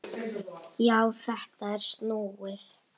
Já, þetta er snúið!